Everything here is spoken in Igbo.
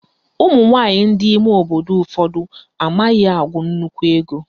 Ụmụnwaanyị ndị ime obodo ụfọdụ amaghị agụ nnukwu ego